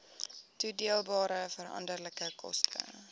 toedeelbare veranderlike koste